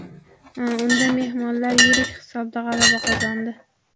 Unda mehmonlar yirik hisobda g‘alaba qozondi.